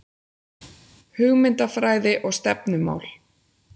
Hugmyndafræði og stefnumál